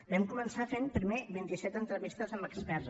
vam començar fent primer vint i set entrevistes amb experts